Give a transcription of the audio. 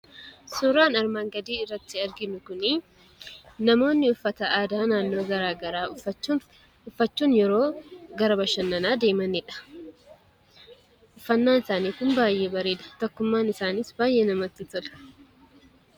Suuraan armaan gadii irratti argamu kun namoonni uffata aadaa naannoo garaa garaa uffachuun yeroo gara bashannanaa deemaniidha. Uffannaan isaanii kun baay'ee bareeda. Tokkummaan isaaniis baay'ee namatti tola.